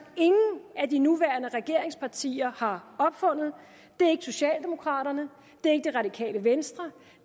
ingen af de nuværende regeringspartier har opfundet det er ikke socialdemokraterne det er ikke det radikale venstre